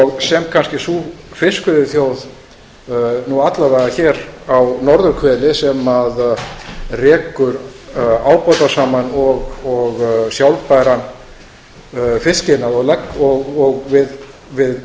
og sem kannski sú fiskveiðiþjóð alla vega hér á norðurhveli sem rekur ábatasaman og sjálfbæran fiskiðnað og við